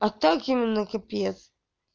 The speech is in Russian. а так именно капец